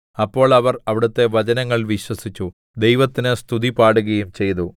അപ്പോൾ അവർ അവിടുത്തെ വചനങ്ങൾ വിശ്വസിച്ചു ദൈവത്തിന് സ്തുതിപാടുകയും ചെയ്തു